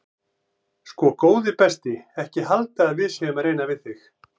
Sko góði besti ekki halda að við séum að reyna við þig.